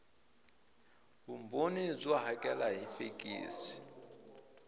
vumbhoni byo hakela hi fekisi